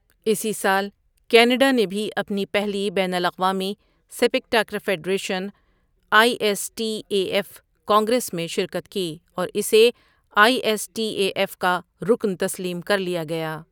اسی سال کینیڈا نے بھی اپنی پہلی بین الاقوامی sepak takraw federation, I S T A F congress میں شرکت کی اور اسےآئی ایس ٹی اے ایف کا رکن تسلیم کر لیا گیا۔